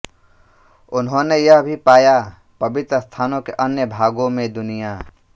उन्होंने यह भी पाया पवित्र स्थानों के अन्य भागों में दुनिया